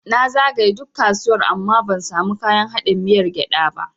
Na zagaye duk kasuwar ban samu kayan haɗin miyar gyada ba.